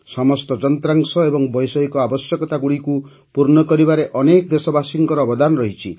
ସମସ୍ତ ଯନ୍ତ୍ରାଂଶ ଏବଂ ବୈଷୟିକ ଆବଶ୍ୟକତାଗୁଡ଼ିକୁ ପୂର୍ଣ୍ଣ କରିବାରେ ଅନେକ ଦେଶବାସୀଙ୍କ ଅବଦାନ ରହିଛି